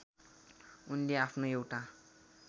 उनले आफ्नो एउटा